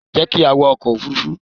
Jẹ́ ki a wọ ọkò òfurufú